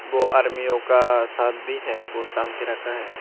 वो आर्मियो का शट भी है वो टांग के रखा है।